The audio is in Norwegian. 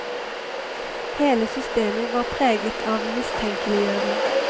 Hele systemet var preget av mistenkeliggjøring.